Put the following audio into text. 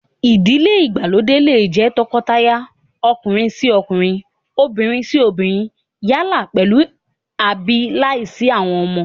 Ìdílé ìgbàlódé lè jẹ́ tọkọtaya ọkùnrin-sí-ọkunrin, obìnrin-sí-obìnrin yálà pèlú àbí láìsí àwọn ọmọ